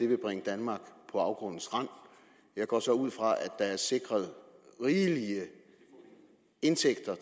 vil bringe danmark på afgrundens rand jeg går så ud fra at der er sikret rigelige indtægter